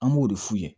An b'o de f'u ye